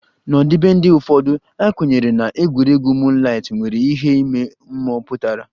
N'ọdịbendị ụfọdụ, a kwenyere na egwuregwu moonlight nwere ihe ime mmụọ pụtara